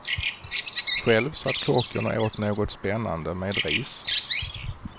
Själv satt kocken och åt något spännande med ris.